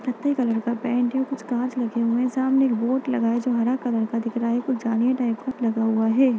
कत्थई कलर का पैंट है कुछ काँच लगे हुए हैं सामने एक बोर्ड लगा है जो हरा कलर का दिख रहा है कुछ जाली टाइप का लगा हुआ है।